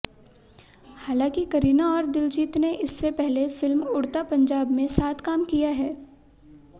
हांलाकि करीना और दिलजीत ने इससे पहले फिल्म उड़ता पंजाब में साथ काम किया हैं